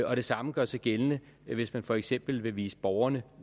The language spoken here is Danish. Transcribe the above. og det samme gør sig gældende hvis man for eksempel vil vise borgerne